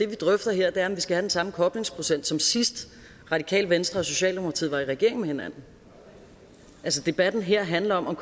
vi drøfter her er om vi skal have den samme koblingsprocent som sidst radikale venstre og socialdemokratiet var i regering med hinanden altså debatten her handler om om